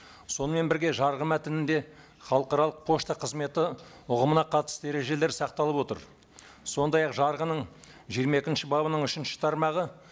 сонымен бірге жарғы мәтінінде халықаралық пошта қызметі ұғымына қатысты ережелер сақталып отыр сондай ақ жарғының жиырма екінші бабының үшінші тармағы